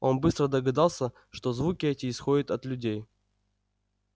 он быстро догадался что звуки эти исходят от людей